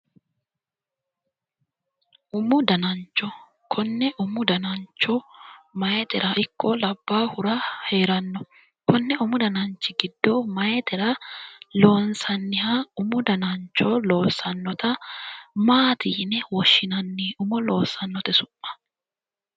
Umu danacho konne umu danancho mayiitera ikko labbahura heeranno konne umu dananchi giddo mayiitera loonsanniha umu danancho loossannota maati yine woshshinanni umo loossannote su'ma